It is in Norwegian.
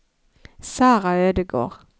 Sarah Ødegård